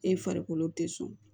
E farikolo te sɔn